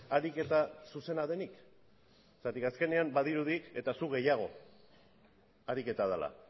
ariketa zuzena denik zergatik azkenean badirudi eta zu gehiago ariketa dela